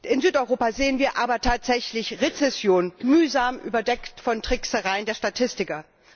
In Südeuropa sehen wir aber tatsächlich Rezession, mühsam überdeckt von Tricksereien der Statistiker.